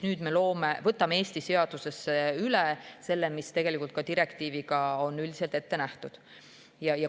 Nüüd me võtame Eesti seadusesse üle selle, mis on ka direktiiviga üldiselt ette nähtud.